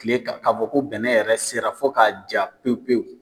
Kile kan k'a fɔ ko bɛnɛ yɛrɛ sera fo k'a ja pewu pewu.